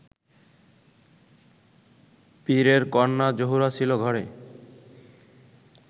পীরের কন্যা জোহরা ছিল ঘরে